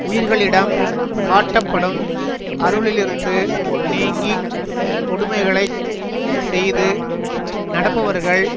உயிர்களிடம் காட்டப்படும் அருளிலிருந்து நீங்கி கொடுமைகளைச் செய்து நடப்பவர்கள்